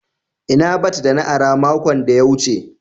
Ina bat da na ara makon da ya wuce.